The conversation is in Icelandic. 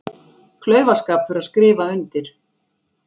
Klaufaskapur að skrifa undir